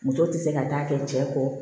Musow tɛ se ka taa kɛ cɛ kɔ